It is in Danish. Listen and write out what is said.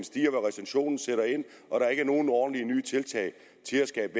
stiger hvor recessionen sætter ind og der ikke er nogen ordentlige nye tiltag til at skabe